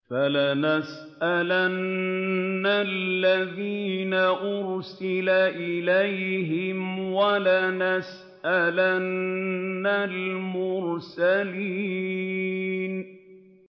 فَلَنَسْأَلَنَّ الَّذِينَ أُرْسِلَ إِلَيْهِمْ وَلَنَسْأَلَنَّ الْمُرْسَلِينَ